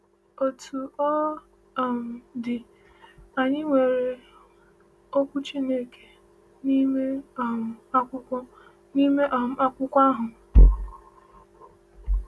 Otú ọ um dị, anyị nwere okwu Chineke n’ime um akwụkwọ n’ime um akwụkwọ ahụ.